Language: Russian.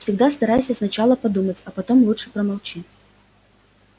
всегда старайся сначала подумать а потом лучше промолчи